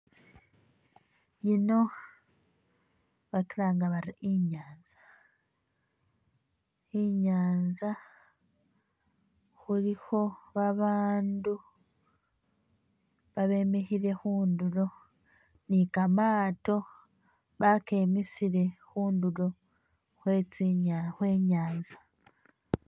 Yino bakilanga bari inyanza, inyanza khulikho babandu babemikhile khundulo ni kamaato bakemisile khundulo Khwe chi nya Khwe nyanza